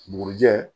Bugurijɛ